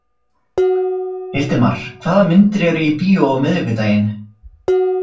Hildimar, hvaða myndir eru í bíó á miðvikudaginn?